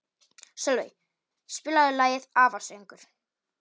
Sölvey, spilaðu lagið „Afasöngur“.